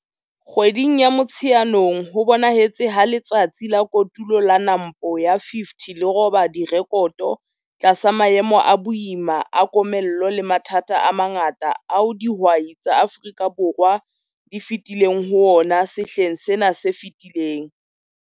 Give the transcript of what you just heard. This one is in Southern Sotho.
Kgweding ya Motsheanong ho bonahetse ha Letsatsi la Kotulo la NAMPO ya 50 le roba direkoto tlasa maemo a boima a komello le mathata a mangata ao dihwai tsa Afrika Borwa di fetileng ho ona sehleng sena se fetileng.